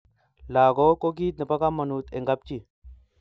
langok ko kit nebo kamangut eng kap chi